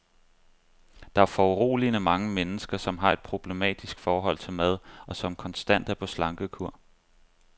Der er foruroligende mange mennesker, som har et problematisk forhold til mad, og som konstant er på slankekur.